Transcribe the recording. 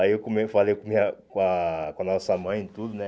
Aí eu falei com a com a nossa mãe e tudo, né?